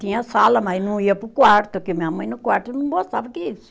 Tinha sala, mas não ia para o quarto, porque minha mãe no quarto não gostava